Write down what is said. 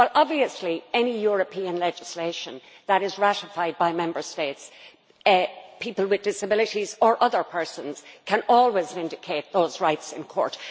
Well, obviously, with any European legislation that is ratified by Member States, people with disabilities or other persons can always vindicate those rights in court.